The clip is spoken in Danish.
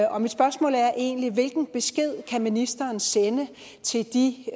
og mit spørgsmål er egentlig hvilken besked kan ministeren sende til de